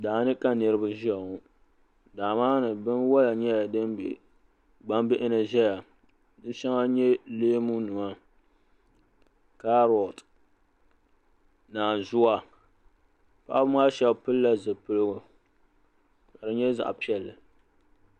Daani ka niriba ʒɛya ŋɔ daa maa ni binwola nyɛla din be gnambihini ʒɛya disheŋa nyɛ leemu nima karoti naanzua paɣaba maa sheba pilila zipiligu ka di nyɛ zaɣa piɛlli.